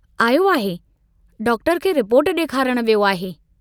आयो आहे डाक्टर खे रिपोर्ट डेखारण वियो आहे।